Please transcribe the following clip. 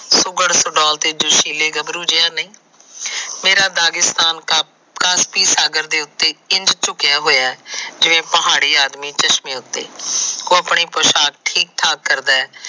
ਸੁਕਰ ਸਡੋਲ ਤੇ ਜੋਸ਼ੀਲੇ ਗੱਬਰੂ ਜਿਹਾ ਨੀ ਮੇਰਾ ਦਾਗਿਸਤਾਨ ਸਾਗਰ ਤੇ ਚੁਕਿਆ ਹੋਇਆ ਜਿਵੇ ਪਹਾੜੀ ਆਦਮੀ ਚਸ਼ਮਿਆਂ ਉੱਤੇ।